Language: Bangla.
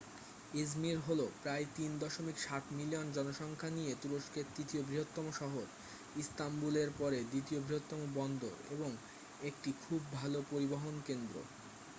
ইজমির হলো প্রায় 3.7 মিলিয়ন জনসংখ্যা নিয়ে তুরস্কের তৃতীয় বৃহত্তম শহর ইস্তাম্বুলের পরে দ্বিতীয় বৃহত্তম বন্দর এবং একটি খুব ভাল পরিবহন কেন্দ্র